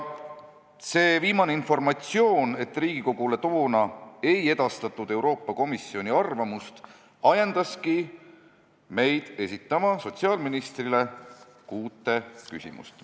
" See viimane informatsioon, et Riigikogule toona ei edastatud Euroopa Komisjoni arvamust, ajendaski meid esitama sotsiaalministrile kuut küsimust.